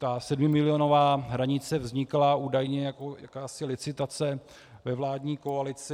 Ta sedmimilionová hranice vznikla údajně jako jakási licitace ve vládní koalici.